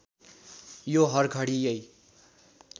यो हरघडी यै